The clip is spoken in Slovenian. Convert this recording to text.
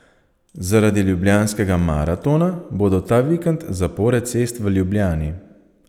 Zaradi Ljubljanskega maratona bodo ta vikend zapore cest v Ljubljani.